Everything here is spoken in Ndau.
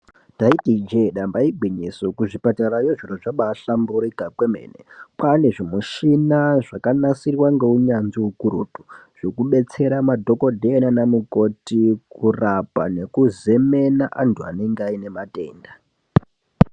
Ndaiti ijee dambi igwinyiso kuzvipatarayo zviro zvabaahlamburuka kwemen kwaane zvimushini zvakanasirwa ngeunyanzvi ukurutu zvokubetsera madhokodheya nanamukoti kurapa nekuzemena antu anenge aine matenda.